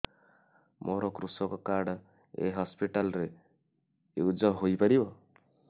ମୋର କୃଷକ କାର୍ଡ ଏ ହସପିଟାଲ ରେ ୟୁଜ଼ ହୋଇପାରିବ